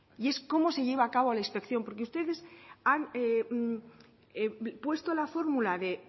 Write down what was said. y es cómo se lleva a cabo la inspección porque ustedes han puesto la fórmula de